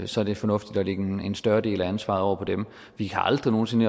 så er det fornuftigt at lægge en større del af ansvaret over på dem vi kan aldrig nogen sinde